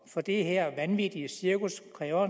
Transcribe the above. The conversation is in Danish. for det her vanvittige cirkus kræver